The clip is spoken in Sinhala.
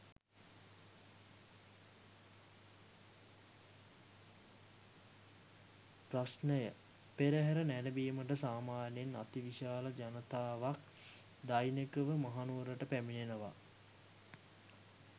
ප්‍රශ්නය පෙරහර නැරඹීමට සාමාන්‍යයෙන් අති විශාල ජනතාවක් දෛනිකව මහනුවරට පැමිණෙනවා.